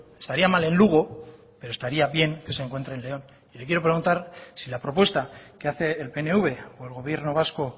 estaría mal en lugo pero estaría bien que se encuentre en león lo que le quiero preguntar si la propuesta que hace el pnv o el gobierno vasco